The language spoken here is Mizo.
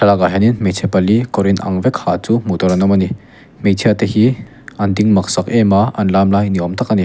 thlalak ah hianin hmeichhe pali kawr inang vek ha chu hmuh tur an awm a ni hmeichhia te hi an ding mak sak em a an lam lai ni awm tak a ni.